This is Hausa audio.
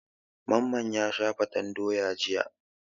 Mamman ya sha fatan doya jiya.